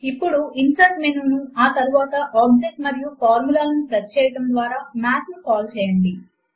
ఇప్పుడు insert menu ను ఆ తరువాత ఆబ్జెక్ట్ మరియు ఫార్ములా లను ప్రెస్ చేయడము ద్వారా మాత్ ను కాల్ చేయండి